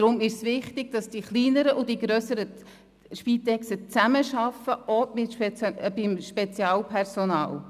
Deshalb ist es wichtig, dass die kleineren und die grösseren Spitex-Organisationen zusammenarbeiten, auch beim spezialisierten Personal.